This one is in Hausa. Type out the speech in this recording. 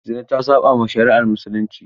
Zina ta saɓawa shari'ar Musulunci.